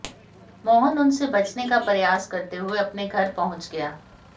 मोहन उनसे बचने का प्रयास करते हुए अपने घर पहुंच गया